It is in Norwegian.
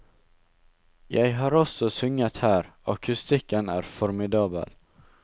Jeg har også sunget her, akustikken er formidabel.